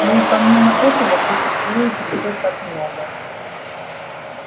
ну и помимо этого существует ещё так много